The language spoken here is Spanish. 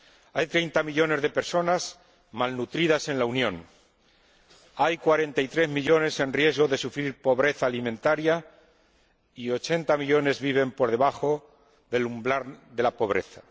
Hay 30 millones de personas malnutridas en la Unión, hay 43 millones en riesgo de sufrir pobreza alimentaria y 80 millones viven por debajo del umbral de la pobreza.